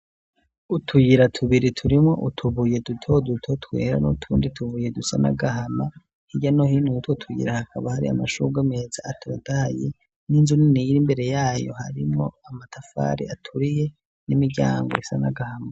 Utuyira tubiri turimwo utubuye dutoduto twera n'utundi tubuye dusa n'agahama, hirya no hino yutwo tuyira hakaba hari amashugwe meza atotahaye n'inzu nini iri imbere y'ayo harimwo amatafari aturiye n'imiryango isa n'agahama.